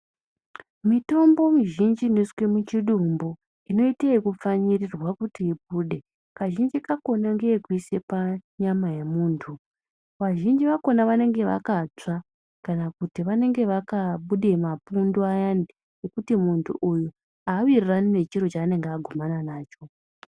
Mitombo mizhinji iniswe muchidumbu inoite yekupfanyirirwa kuti ibude. Kazhinji kakona ngeyekuisa panyama yemuntu vazhinji vakona vanenge vakatsva kana kuti vanenge vakabuda mapundu ayani. Ekuti muntu uyu havirirani nechiro chanenge agumana nacho.